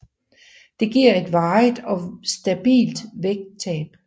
Det giver et varigt og stabilt vægttab